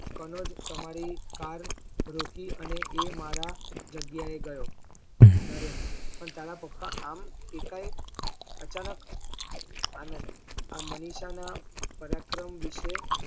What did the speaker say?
કમજ તમારી car રોકી અને એ મારા જગ્યા એ ગયો નરેન પણ તારા પપ્પા આમ એ કઈ અચાનક આનદ આ મનીષા ના પરાક્રમ વિષય